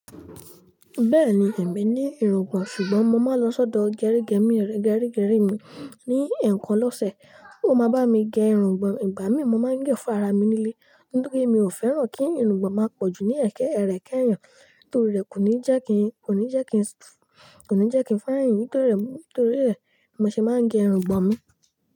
Bẹ́ẹ̀ni, èmi ní irùngbọ̀n, ṣùgbọ́n mo máa ń lọ sọ́dọ̀ gẹrígẹ́mi rẹ gerigeri mi ní ẹ̀ẹ̀kan lọ́sẹ̀. Ó mo bá mi gé irùngbọ̀n, ìgbà mí mọ máa ń gẹ́ fún ara mi nílé, nítorí mi ò fẹ́ràn kí irùngbọ̀n máa pọ̀jù ní ẹ̀kẹ́ ẹrẹ̀kẹ́ yàn, torí rẹ̀ kò ní jẹ́ kin, kò ní jẹ́ kin, kò ní jẹ́ kin fá ẹyin, torí rẹ̀, torí rẹ̀ mo ṣe máa ń gẹ irùngbọ̀n mi.